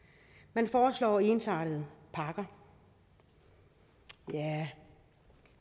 man foreslår ensartede pakker tja